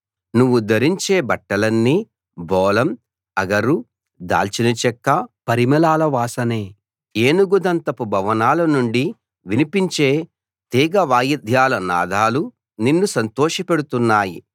నువ్వు ధరించే బట్టలన్నీ బోళం అగరు దాల్చినచెక్క పరిమళాల వాసనే ఏనుగు దంతపు భవనాల నుండి వినిపించే తీగ వాయిద్యాల నాదాలు నిన్ను సంతోషపెడుతున్నాయి